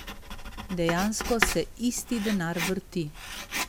Dejansko se isti denar vrti.